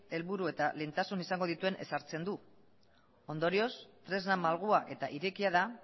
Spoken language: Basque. helburu eta lehentasun izango dituen ezartzen du ondorioz tresna malgua eta irekia da